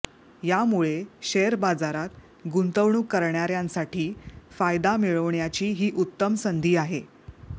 यामुळे शेअर बाजारात गुंतवणूक करणाऱ्यासाठी फायदा मिळवण्याची ही उत्तम संधी आहे